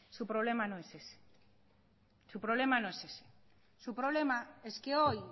su problema no es ese su problema es que hoy